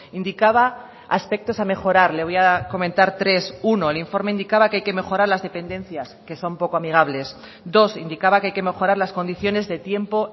indicaba aspectos a mejorar le voy a comentar tres uno el informe indicaba que hay que mejorar las dependencias que son poco amigables dos indicaba que hay que mejorar las condiciones de tiempo